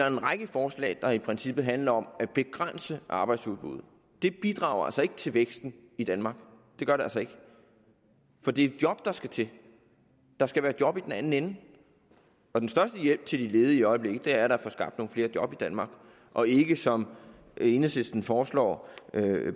en række forslag der i princippet handler om at begrænse arbejdsudbuddet det bidrager ikke til væksten i danmark det gør det altså ikke for det er job der skal til der skal være job i den anden ende og den største hjælp til de ledige i øjeblikket er da at få skabt nogle flere job i danmark og ikke som enhedslisten forslag om